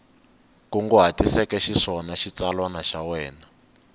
kunguhatiseke xiswona xitsalwana xa wena